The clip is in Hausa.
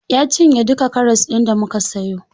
Ya cinye duka karas ɗin da muka siyo.